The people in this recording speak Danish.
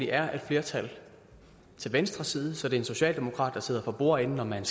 er et flertal til venstre side så det er en socialdemokrat der sidder for bordenden når man